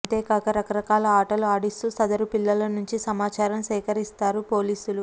అంతేకాక రకరకాల ఆటలు ఆడిస్తూ సదరు పిల్లల నుంచి సమాచారం సేకరింస్తారు పోలీసులు